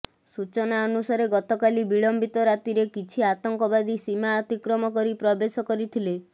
ସୂଚନା ଅନୁସାରେ ଗତକାଲି ବିଳମ୍ବିତ ରାତିରେ କିଛି ଆତଙ୍କବାଦୀ ସୀମା ଅତିକ୍ରମ କରି ପ୍ରବେଶ କରିଥିଲେ